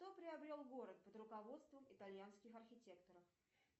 кто приобрел город под руководством итальянских архитекторов